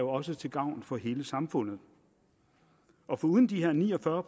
også til gavn for hele samfundet foruden de her ni og fyrre